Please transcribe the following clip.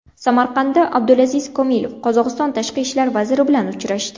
Samarqandda Abdulaziz Komilov Qozog‘iston Tashqi ishlar vaziri bilan uchrashdi.